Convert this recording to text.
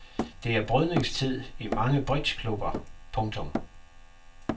Det er brydningstid i mange bridgeklubber. punktum